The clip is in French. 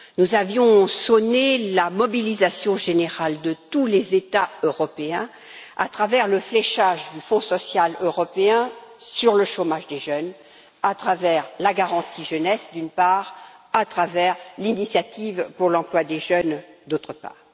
Nous avions sonné la mobilisation générale de tous les États européens, à travers le fléchage du Fonds social européen, sur le chômage des jeunes à travers la garantie jeunesse, d'une part, à travers l'initiative pour l'emploi des jeunes, d'autre part.